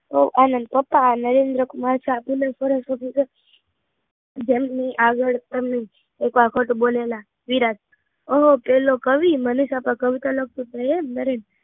લો આ આનંદ પપ્પા નરેન્દ્રકુમાર સાથે ના સરસ્વતી ના તે આગળ એક વાર ખોટું બોલેલા વિરાટ ઓ, પેલો કવિ મનીષા પર કવિતા લખતો હતો એ? નરેન